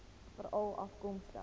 veralafkomstig